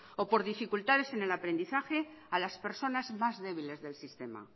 o por dificultades en el aprendizaje a las personas más débiles del sistema